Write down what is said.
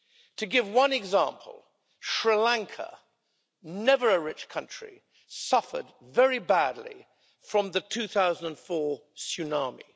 To give one example, Sri Lanka, never a rich country, suffered badly from the 2004 tsunami.